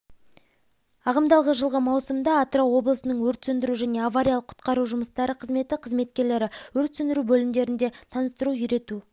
ағымдағы жылғы маусымда атырау облысының өрт сөндіру және авариялық-құтқару жұмыстары қызметі қызметкерлері өрт сөндіру бөлімдерінде таныстыру-үйрету